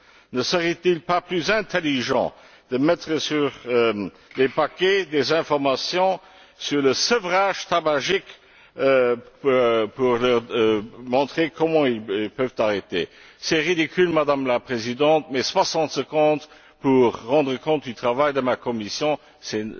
Ne serait il pas plus intelligent de mettre sur les paquets des informations sur le sevrage tabagique pour leur montrer comment ils peuvent arrêter? C'est ridicule, Madame la Présidente, mais soixante secondes pour rendre compte du travail de ma commission, c'est